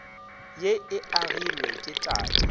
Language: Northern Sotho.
ye e agilwe ke tate